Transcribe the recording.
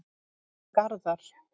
Garðar